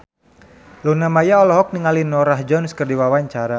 Luna Maya olohok ningali Norah Jones keur diwawancara